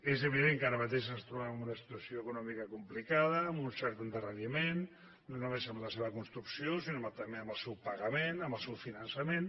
és evident que ara mateix ens trobem amb una situació econòmica complicada amb un cert endarreriment no només en la seva construcció sinó també en el seu pagament en el seu finançament